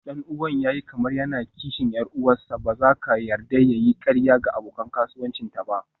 Ɗan'uwan ya yi kamar yana kishin 'yar uwarsa, ba za ka yarda ya yi ƙarya ga abokan kasuwancinta ba.